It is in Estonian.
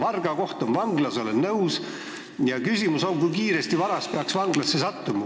Olen nõus, et varga koht on vanglas, aga küsimus on, kui kiiresti peaks varas vanglasse sattuma.